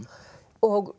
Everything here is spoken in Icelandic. og